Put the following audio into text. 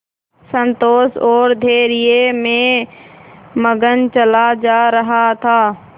संतोष और धैर्य में मगन चला जा रहा था